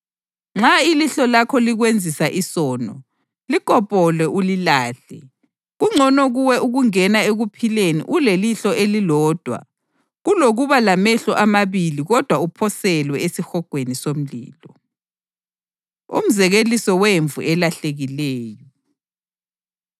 Nxa ilihlo lakho likwenzisa isono, likopole ulilahle. Kungcono kuwe ukungena ekuphileni ulelihlo elilodwa kulokuba lamehlo amabili kodwa uphoselwe esihogweni somlilo.” Umzekeliso Wemvu Elahlekileyo